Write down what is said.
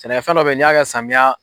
Sɛnɛkɛ fɛn dɔ be yen ni y'a ka samiya